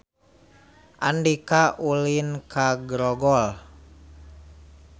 Andika ulin ka Grogol